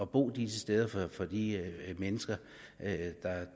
bo disse steder for de mennesker